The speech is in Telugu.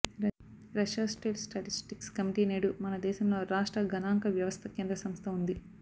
రష్యా స్టేట్ స్టాటిస్టిక్స్ కమిటీ నేడు మన దేశంలో రాష్ట్ర గణాంక వ్యవస్థ కేంద్ర సంస్థ ఉంది